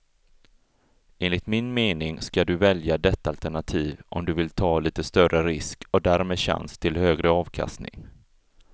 Enligt min mening ska du välja detta alternativ om du vill ta lite större risk och därmed chans till högre avkastning.